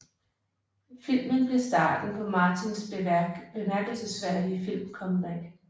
Filmen blev starten på Martins bemærkelsesværdige filmcomeback